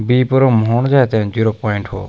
बीपरूम होण च तेन जीरो प्वाइंट हो।